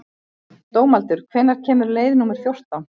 Dómaldur, hvenær kemur leið númer fjórtán?